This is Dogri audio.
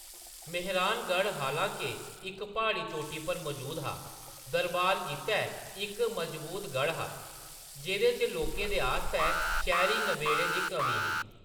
मेहरानगढ़, हालां-के इक प्हाड़ी चोटी पर मजूद हा, दरबार गितै इक मजबूत गढ़ हा, जेह्‌‌‌दे च लोकें दे आस्तै शैह्‌‌‌री नबेड़ें दी कमी ही।